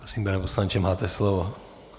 Prosím, pane poslanče, máte slovo.